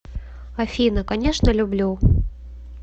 афина конечно люблю